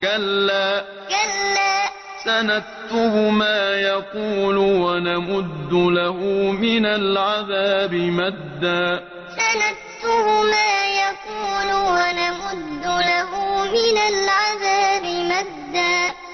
كَلَّا ۚ سَنَكْتُبُ مَا يَقُولُ وَنَمُدُّ لَهُ مِنَ الْعَذَابِ مَدًّا كَلَّا ۚ سَنَكْتُبُ مَا يَقُولُ وَنَمُدُّ لَهُ مِنَ الْعَذَابِ مَدًّا